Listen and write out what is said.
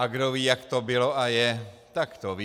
A kdo ví, jak to bylo a je, tak to ví.